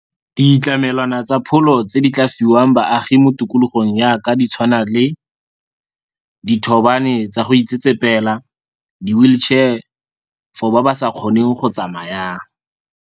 Ditlamelwana tsa pholo tse di tla fiwang baagi mo tikologong ya ka di tshwana le dithobane tsa go itsetsepela, di-wheelchair for ba ba sa kgoneng go tsamayang.